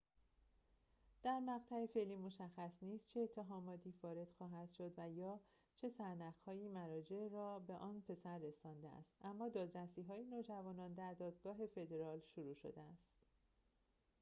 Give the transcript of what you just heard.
در مقطع فعلی مشخص نیست چه اتهاماتی وارد خواهد شد یا چه سرنخ‌هایی مراجع را به آن پسر رسانده است اما دادرسی‌های نوجوانان در دادگاه فدرال شروع شده است